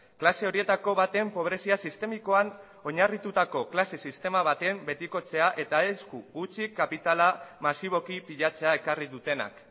klase horietako baten pobrezia sistemikoan oinarritutako klase sistema baten betikotzea eta esku hutsik kapitala masiboki pilatzea ekarri dutenak